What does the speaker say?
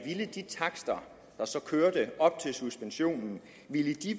de takster der så kørte op til suspensionen